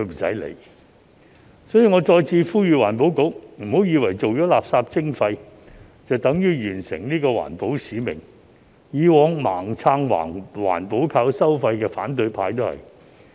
所以，我再次呼籲環境局，別以為做了垃圾徵費便等於完成環保使命，以往盲撐"環保靠收費"的反對派亦然。